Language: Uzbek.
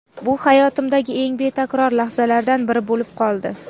Bu hayotimdagi eng betakror lahzalardan biri bo‘lib qoldi.